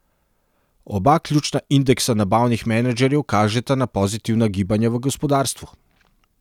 Oba ključna indeksa nabavnih menedžerjev kažeta na pozitivna gibanja v gospodarstvu.